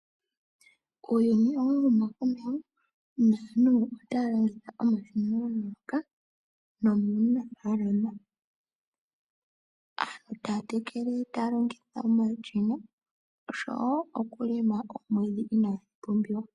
Uuyuni owa huma komeho naantu otaya longitha omashina ngoka nomuunafalama. Aantu taya tekele taya longitha omashina nosho wo okulima omwiidhi inagu pumbiwa.